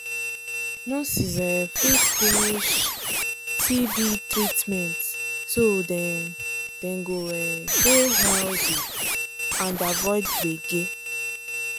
nurses um fit finish um tb treatment so dem dem go um dey healthy and avoid gbege.